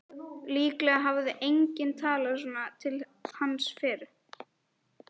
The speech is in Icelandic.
Líklega hafði enginn talað svona til hans fyrr.